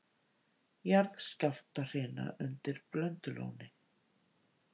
Jarðskjálftahrina undir Blöndulóni